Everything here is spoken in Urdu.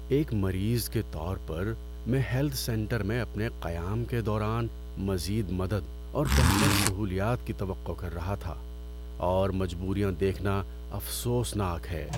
ایک مریض کے طور پر، میں ہیلتھ سینٹر میں اپنے قیام کے دوران مزید مدد اور بہتر سہولیات کی توقع کر رہا تھا، اور مجببوریاں دیکھنا افسوسناک ہے۔